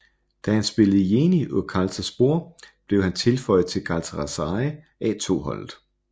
Da han spillede i Yeni Özkartalspor blev han tilføjet til Galatasaray A2 holdet